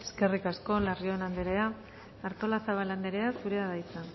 eskerrik asko larrion anderea artolazabal anderea zurea da hitza